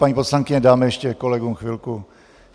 Paní poslankyně, dáme ještě kolegům chvilku.